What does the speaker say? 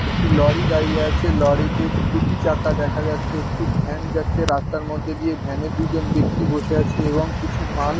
একটি লরি দাঁড়িয়ে আছে লরি তে দুটি চাকা দেখা যাচ্ছে একটি ভ্যান যাচ্ছে। রাস্তার মধ্যে দিয়ে ভ্যান -এ দু জন ব্যাক্তি বসে আছেন এবং কিছু মাল --